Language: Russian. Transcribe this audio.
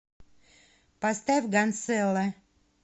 поставь гансэлло